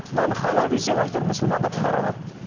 мынаны халал десең әйтеуір мұсылмандардың бәрі алады